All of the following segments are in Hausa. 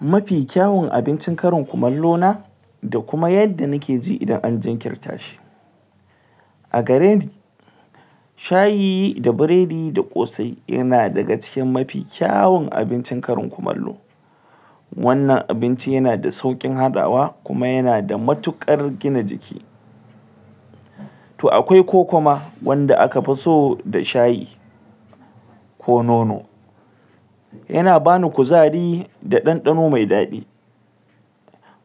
mafi kyaun abincin karin kumallo na da kuma yadda nikeji idan an jinkirta shi a gareni shayi da biredi da kosai yana daga cikin amfi kyaun abincin karin kumallo wannan abincin yana da saukin hadawa kuma yana da matukar gina jiki to akwai koko ma wanda akafi so da shayi ko nono yana bani kuzari da dandano me dadi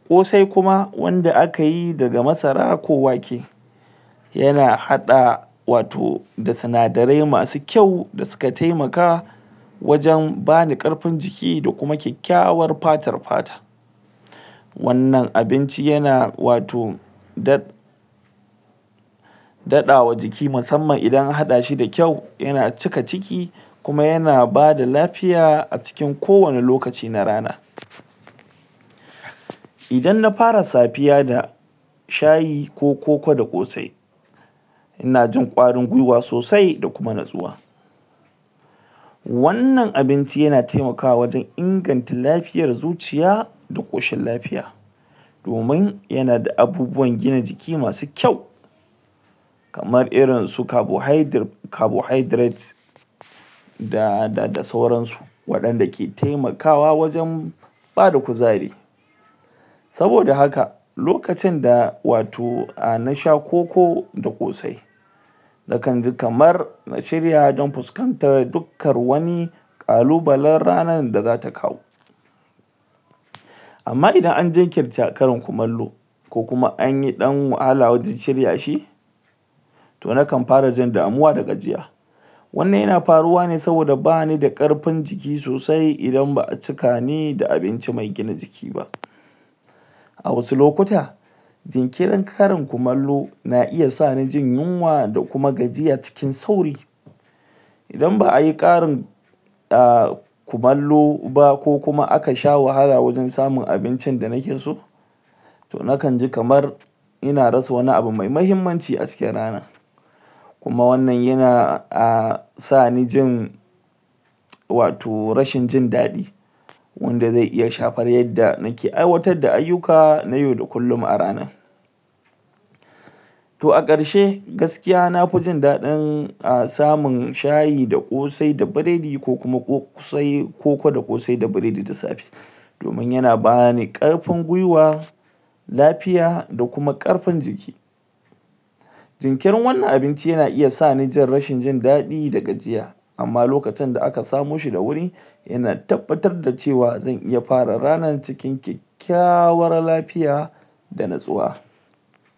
kosai kuma wanda akayi daga masara ko wake yana hada wato da sinadarai masu kyau da suka taimaka wajen bani karfin jiki da kuma kyakkyawar fatar fata wannan abinci yana wato da dadawa jiki musamman idan an hadashi da kyau yana cika ciki kuma yana daba lafiya a cikin kowane lokaci na rana idan na fara safiya da shayi ko koko da kosai inajin kwarin gwiwa sosai da kuma natsuwa wannan abinci yana taimakawa wajen inganta lafiyar zuciya dakoshin lafiya domin yana da abubuwan gina jiki masu kyau kamar irin su carbohydrate da da sauran su wadanda ke taimakawa wajen bada kuzari saboda haka lokacin da wato nasha ah koko da kosai na kanji kamar na shirya don fuskantar dukan wanui kalubalan ranar da zata kawo amma idan an jinkirta karain kumallo ko kuma an dan yi wahala wajen shirya shi to nakan fara jin damuwa da gajiya wannan yana faruwa ne saboda banida karfin jiki sosai idan ba'a cikani da abinci me gina jiki ba a wasu lokuta jinkirin karin kumallo na iya sani jin yinwa da kuma gajiya cikin sauri idan ba'ayi karin ah kumallo ba ko kuma aka sha wahala wajen samun abinci da nike so to na kanji kamar ina rasa wani abu me mahimmanci a cikin ranar kuma wannan yana sani a jin wato rashin jin dadi wanda zai iya shara yanda nike aiwatar da ayuka na yau da kullum a rana to a karshe gaskiya nafi jin dadin samun shayi da kosai da biredi ko kuma koko da kosai da biredi da safe domin yana bani karfin gwiwa lafiya da kuma karfin jiki jikirin wannan abinci yana iya sani rashin jin dadi da gajiya amma lokacin da aka samoshi da wuri yana tabbatar da cewa zan iya fara ranar cikin kyakkyawar lafiya da natsuwa